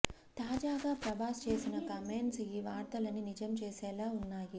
తాజాగా ప్రభాస్ చేసిన కామెంట్స్ ఈ వార్తలని నిజం చేసేలా ఉన్నాయి